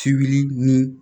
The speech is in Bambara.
Sibiri ni